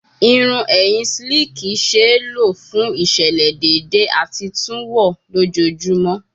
Irun ẹhin slicki le ṣee lo fun iṣẹlẹ deede ati tun wọ lojoojumọ